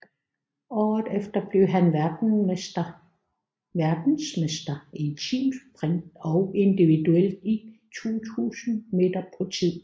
Året efter blev han verdensmester i teamsprint og individuelt i 1000 m på tid